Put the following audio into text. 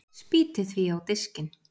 Spýti því á diskinn.